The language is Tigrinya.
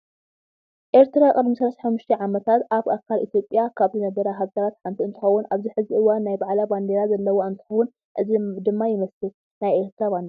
ኤረትራ ቅድሚ 35 ዓመታት ኣብ ኣካል ኢትዮጵያ ካብ ዝነበራ ሃገራት ሓንቲ እንትኸውን ኣብዚ ሕዚ እዋን ናይ ባዕላ ባንደራ ዘለዎ እንትከውን እዚ ድማ ይመስል ናይ ኤረትራ ባንደራ።